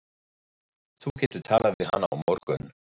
Þú getur talað við hana á morgun.